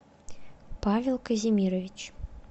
павел казимирович